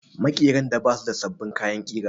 Maƙeran da ba su da sabbin kayan ƙira